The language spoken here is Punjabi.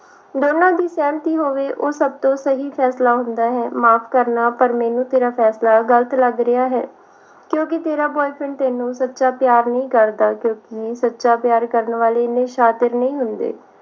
ਦੋਨਾਂ ਦੀ ਸਹਿਮਤੀ ਹੋਵੇ ਉਹ ਸਭ ਤੋਂ ਸਹੀ ਫੈਸਲਾ ਹੁੰਦਾ ਹੈ ਮਾਫ ਕਰਨਾ ਮੈਨੂੰ ਤੇਰਾ ਫੈਸਲਾ ਗਲਤ ਲੱਗ ਰਿਹਾ ਹੈ ਕਿਉਕਿ ਤੇਰਾ boyfriend ਤੈਨੂੰ ਸੱਚਾ ਪਿਆਰ ਨਹੀ ਕਰਦਾ ਕਿਉਕਿ ਸੱਚਾ ਪਿਆਰ ਕਰਨ ਵਾਲੇ ਇੰਨੇ ਸ਼ਾਤਿਰ ਨਹੀਂ ਹੁੰਦੇ